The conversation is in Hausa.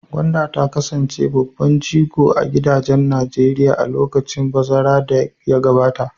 Gwanda ta kasance babban jigo a gidajen Najeriya a lokacin bazara da ya gabata.